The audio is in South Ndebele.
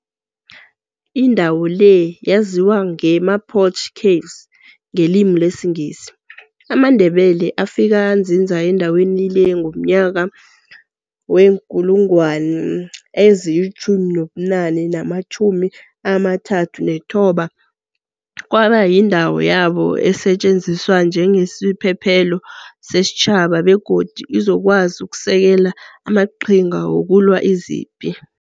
Indawo le yaziwa nge-mapoch caves ngelimi lesiNgisi. amaNdebele afika anzinza endaweni le ngonyaka we-1839. Kwaba yindawo yabo esetjenziswa njengesiphephelo sesitjhaba begodu izokwazi uksekela amaqhinga wokulwa izipi.